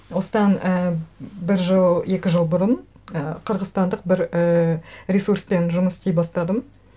осыдан і бір жыл екі жыл бұрын і қырғызстандық бір і ресурспен жұмыс істей бастадым